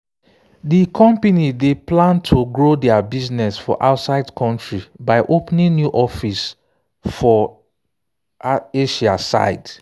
de company dey plan to grow their business for outside country by opening new office for asia side.